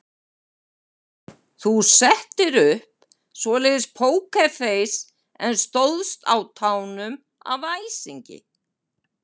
Þú settir upp svoleiðis pókerfeis en stóðst á tánum af æsingi.